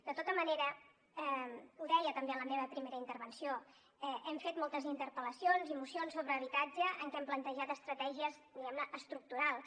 de tota manera ho deia també en la meva primera intervenció hem fet moltes interpel·lacions i mocions sobre habitatge en què hem plantejat estratègies diguem ne estructurals